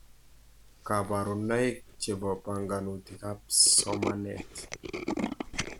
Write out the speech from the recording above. Kabarunaik chebo banganutietab somanet